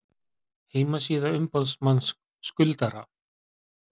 Heimasíða umboðsmanns skuldara